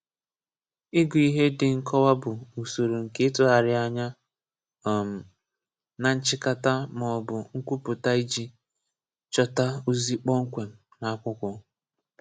Ị̀gụ̀ ihè dị̀ nkọ̀wà bụ̀ usorò nkè ị̀tụ̀gharị̀ anyà um nà nchị̀kàtà mà ọ̀ bụ̀ nkwupụtà ijì chọtà ozì kọ̀pm̀kwèm n’àkwùkwọ̀